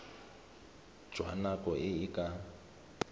jwa nako e e ka